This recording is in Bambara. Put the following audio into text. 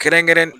Kɛrɛnkɛrɛn